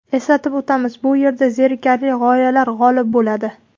Eslatib o‘tamiz: bu yerda zerikarli g‘oyalar g‘olib bo‘ladi.